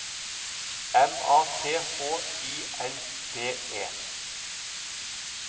M A T H I L D E